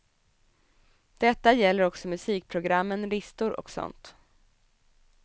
Detta gäller också musikprogrammen, listor och sådant.